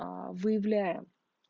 выявляем